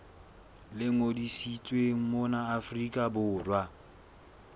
le ngodisitsweng mona afrika borwa